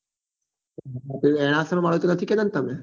કેતા હતા ને તમે